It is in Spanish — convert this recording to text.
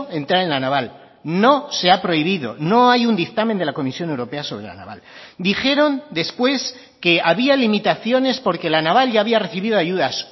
entrar en la naval no se ha prohibido no hay un dictamen de la comisión europea sobre la naval dijeron después que había limitaciones porque la naval ya había recibido ayudas